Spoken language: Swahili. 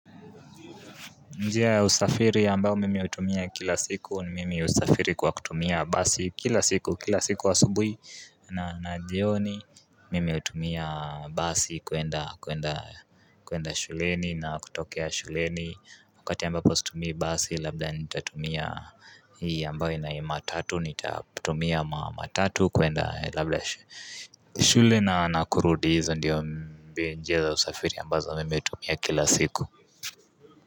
Njia ya usafiri ambayo mimi hutumia kila siku ni mimi husafiri kwa kutumia basi kila siku kila siku asubuhi na jioni mimi hutumia basi kwenda shuleni na kutokea shuleni wakati ambapo situmii basi labda nitatumia hii ambayo matatu nitatumia matatu kwenda labda shuleni na kurudi hizo ndiyo njia za usafiri ambazo mimi hutumia kila siku.